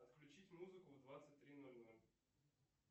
отключить музыку в двадцать три ноль ноль